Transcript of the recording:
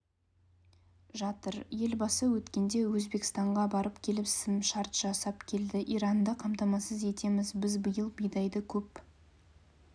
жатыр елбасы өткенде өзбекстанға барып келісімшарт жасап келді иранды қамтамасыз етеміз біз биыл бидайды көп